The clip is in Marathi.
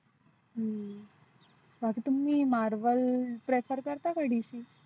हम्म बाकी तो मी Marwell prefer करता का